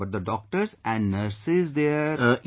But the doctors and nurses there...